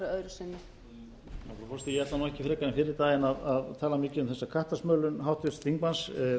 frekar en fyrri daginn að tala mikið um þessa kattasmölun þingmanns